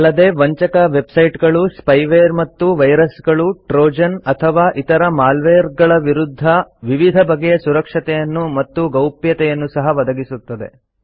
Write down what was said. ಅಲ್ಲದೆ ವಂಚಕ ವೆಬ್ ಸೈಟ್ಗಳು ಸ್ಪೈವೇರ್ ಮತ್ತು ವೈರಸ್ಗಳು ಟ್ರೋಜನ್ ಅಥವಾ ಇತರ ಮಾಲ್ವೇರ್ಗಳ ವಿರುದ್ಧ ವಿವಿಧ ಬಗೆಯ ಸುರಕ್ಷತೆಯನ್ನು ಮತ್ತು ಗೌಪ್ಯತೆಯನ್ನು ಸಹ ಒದಗಿಸುತ್ತದೆ